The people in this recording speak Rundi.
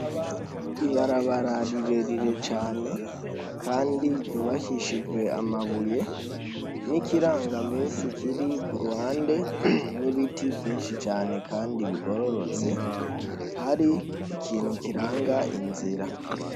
ibarabara rirerire cane kandi ryubakishijwe amabuye, n'ikirangamisi kiri kuruhande n'ibiti vyinshi cane kandi bigororotse ,hari ikintu kiranga inzira.